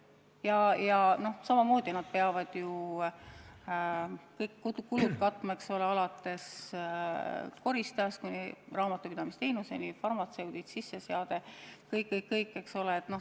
Nad peavad samamoodi kõik kulud katma, alates koristajast kuni raamatupidamisteenuseni, farmatseudid, sisseseade – kõik-kõik, eks ole.